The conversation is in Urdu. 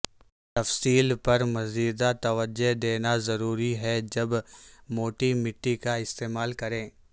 تفصیل پر مزید توجہ دینا ضروری ہے جب موٹی مٹی کا استعمال کریں